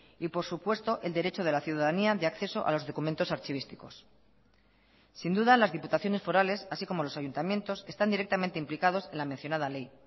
y por supuesto el derecho de la ciudadanía de acceso a los documentos archivísticos sin duda las diputaciones forales así como los ayuntamientos están directamente implicados en la mencionada ley